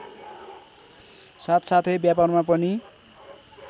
साथसाथै व्यापारमा पनि